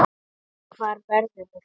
Hvað verður þá?